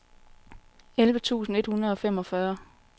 elleve tusind et hundrede og femogfyrre